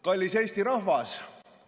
Kallis Eesti rahvas!